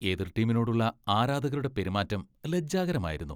എതിർ ടീമിനോടുള്ള ആരാധകരുടെ പെരുമാറ്റം ലജ്ജാകരമായിരുന്നു.